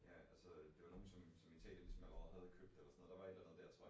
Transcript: Ja, altså det var nogen som som Italien ligesom havde købt eller sådan noget der var et eller andet der tror jeg